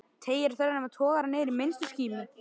Teygir á þræðinum eða togar hann niður í minnstu skímu?